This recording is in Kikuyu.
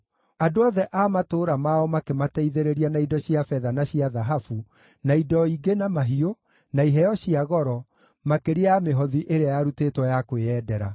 Andũ othe a matũũra mao makĩmateithĩrĩria na indo cia betha na cia thahabu, na indo ingĩ na mahiũ, na iheo cia goro, makĩria ya mĩhothi ĩrĩa yarutĩtwo ya kwĩyendera.